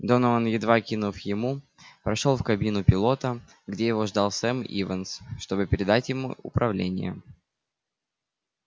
донован едва кивнув ему прошёл в кабину пилота где его ждал сэм ивенс чтобы передать ему управление